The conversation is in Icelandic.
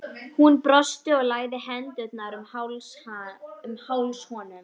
Hún brosti og lagði hendurnar um háls honum.